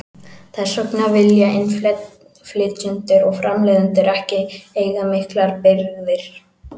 Þess vegna vilja innflytjendur og framleiðendur ekki eiga miklar birgðir.